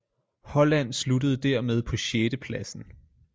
Holland sluttede dermed på sjettepladsen